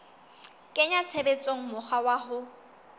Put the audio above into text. kenya tshebetsong mokgwa wa ho